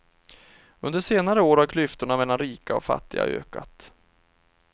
Under senare år har klyftorna mellan rika och fattiga ökat.